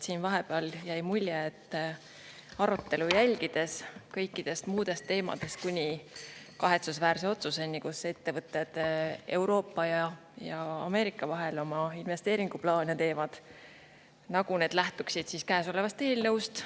Siin vahepeal jäi mulje arutelu jälgides, et kõikidest muudest teemadest kuni kahetsusväärse otsuseni, kus ettevõtted Euroopa ja Ameerika vahel oma investeeringuplaane teevad, nagu need lähtuksid käesolevast eelnõust.